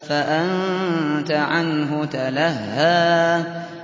فَأَنتَ عَنْهُ تَلَهَّىٰ